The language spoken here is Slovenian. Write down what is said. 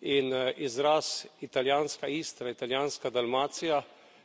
In izraz italijanska Istra, italijanska Dalmacija